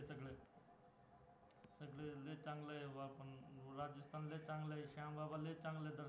समदं चांगलं आहे श्यामबाबा लय चांगलं दर्शन